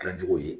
Gilan cogo ye